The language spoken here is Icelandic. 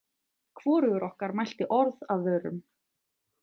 Hvorugur okkar mælti orð af vörum.